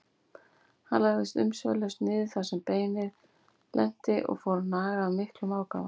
Hann lagðist umsvifalaust niður þar sem beinið lenti og fór að naga af miklum ákafa.